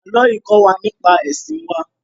Ààlọ́ yìí kó wa nípa ẹ̀sìn wá